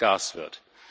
Gas wird.